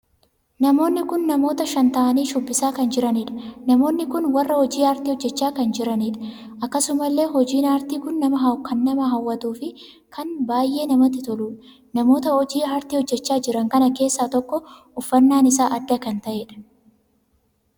Namoonni kun namoota shan ta'anii shubbisa irra kan jiraniidha. Namoonni kun warra hojii aartii hojjechaa kan jiraniidha. Akkasumallee hojiin aartii kun kan nama hawwatuuf kan baay'ee namatti toluudha. Namoota hojii aartii hojjechaa jiran kana keessaa tokko uffannaan isaa adda kan taheedha.